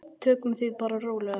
Tökum því bara rólega.